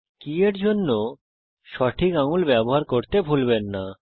কি এর জন্য সঠিক আঙুল ব্যবহার করতে ভুলবেন না